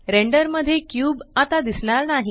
render मध्ये cube आता दिसणार नाही